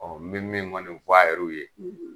Ɔ mi min f'a yɛrɛw ye.